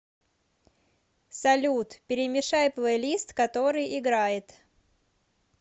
салют перемешай плейлист который играет